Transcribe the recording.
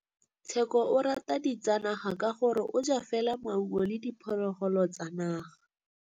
Tshekô o rata ditsanaga ka gore o ja fela maungo le diphologolo tsa naga.